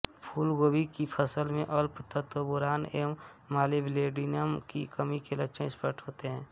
फूलगोभी की फसल में अल्प तत्वबोरान एवं मॉलीब्लेडिनम की कमी के लक्षण स्पष्ट होते है